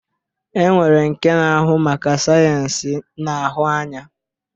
E nwere nke na-ahụ maka sayensị na-ahụ anya.